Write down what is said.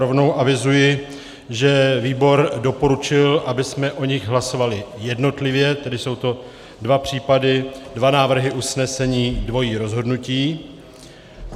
Rovnou avizuji, že výbor doporučil, abychom o nich hlasovali jednotlivě, tedy jsou to dva případy, dva návrhy usnesení, dvojí rozhodnutí.